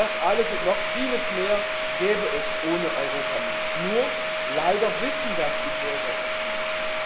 Das alles und noch vieles mehr gäbe es ohne Europa nicht, nur leider wissen das die Bürger oft nicht.